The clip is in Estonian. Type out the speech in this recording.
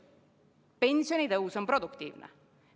Pensionitõus on produktiivne.